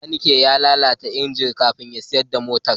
Bakaniken ya lalata injin kafin ya siyar da motar.